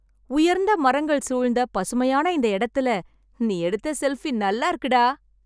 உயர்ந்த மரங்கள் சூழ்ந்த, பசுமையான இந்த இடத்துல, நீ எடுத்த செல்ஃபி நல்லா இருக்குடா.